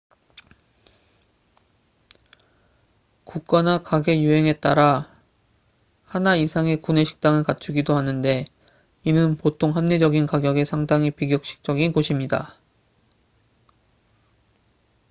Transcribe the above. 국가나 가게 유형에 따라 하나 이상의 구내식당을 갖추기도 하는데 이는 보통 합리적인 가격의 상당히 비격식적인 곳입니다